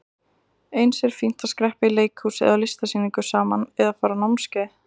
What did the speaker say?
Eins er fínt að skreppa í leikhús eða á listasýningu saman eða fara á námskeið.